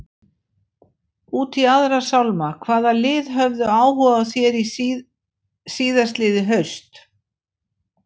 Út í aðra sálma, hvaða lið höfðu áhuga á þér síðastliðið haust?